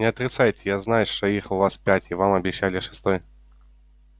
не отрицайте я знаю что их у вас пять и вам обещали шестой